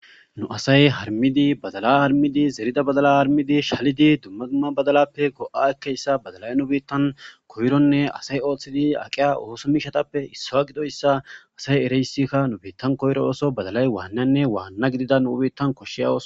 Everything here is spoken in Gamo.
nu asay harmidi badala harmidi zerida badala harmidi shalidi dumma dumma badalappe ko7a akkeyssa badalay nu bettan koyronne asay ooththidi aqiya ooso miishatappe issawa gidoyssa asay ereyssikka nu beettan koyro oso badalay waannanne waanna gidida nuubettan koshshiyawos